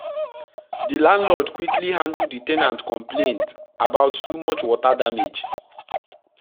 the landlord quickly handle the ten ant complaint about too much water damage.